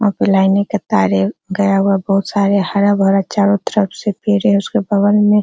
वहां पर लाइने के तारे गया हुआ बहुत सारे हरा-भरा चारों तरफ से पेड़े उसके बगल में --